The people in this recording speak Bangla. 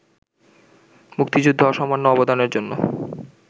মুক্তিযুদ্ধে অসামান্য অবদানের জন্য